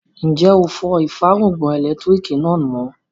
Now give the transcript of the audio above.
Ǹjẹ́ ó fọ ìfárùngbọ̀n ẹlẹ́lẹtiriki náà mọ?